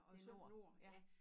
Det nord ja